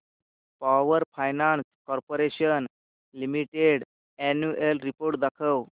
power finance corporation limited annual report दाखव